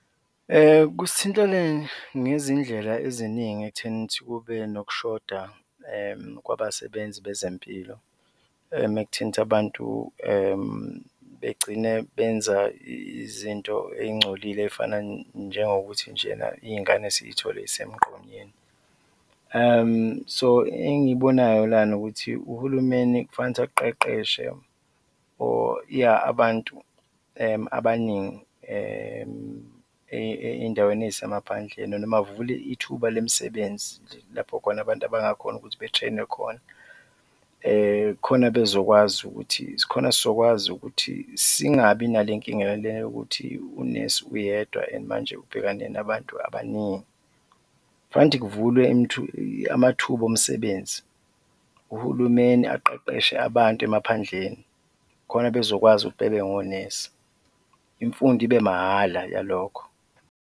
Kusithintile ngezindlela eziningi ekutheni ukuthi kube nokushoda kwabasebenzi bezempilo mekuthinta abantu, begcine benza izinto ey'ngcolile ey'fana njengokuthi njena iy'ngane siy'thole zisemgqonyweni. So engiyibonayo lana ukuthi uhulumeni kufanele ukuthi aqeqeshe or yah, abantu abaningi ey'ndaweni ey'semaphandleni noma avule ithuba lemisebenzi lapho khona abantu abangakhona ukuthi betshenwe khona, khona bezokwazi ukuthi, khona sizokwazi ukuthi singabi nalenkinga le yokuthi unesi uyedwa and manje ubhekane nabantu abaningi, fanele ukuthi kuvulwe amathuba omsebenzi, uhulumeni aqeqeshe abantu emaphandleni khona bezokwazi ukuthi bebe ngonesi, imfundo ibe mahhala yalokho.